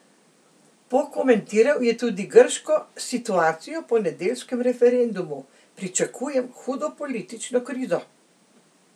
Pokomentiral je tudi grško situacijo po nedeljskem referendumu: 'Pričakujem hudo politično krizo.